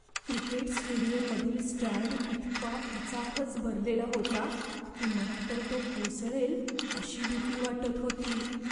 Cricket स्टेडियममधील stand इतका खचाखच भरलेला होता की मला तर तो कोसळेल अशी भीती वाटत होती.